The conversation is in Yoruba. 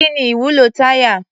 Kí ni ìwúlò táyà?